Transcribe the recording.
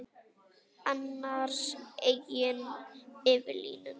Annars eigin yfir línuna.